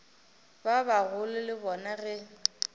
ba bagolo le bona ge